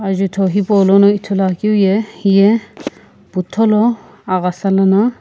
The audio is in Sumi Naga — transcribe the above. jutho hipaulono ithuluakeu ye hiye putholo aghasa lana.